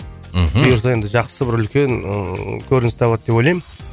мхм бұйырса енді жақсы бір үлкен ыыы көрініс табады деп ойлаймын